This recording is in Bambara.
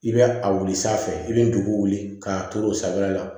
I bɛ a wuli sanfɛ i bɛ dugu wuli k'a to o sanfɛla la